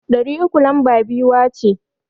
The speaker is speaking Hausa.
Ɗari uku lamba biyuwa ce.